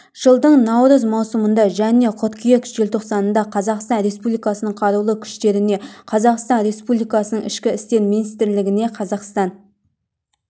жылдың наурыз маусымында және қыркүйек желтоқсанында қазақстан республикасының қарулы күштеріне қазақстан республикасының ішкі істер министрлігіне қазақстан